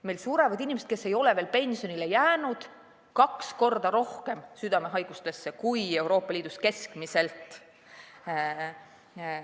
Meil surevad inimesed, kes ei ole veel pensionile jäänud, kaks korda rohkem südamehaigustesse kui Euroopa Liidus keskmiselt.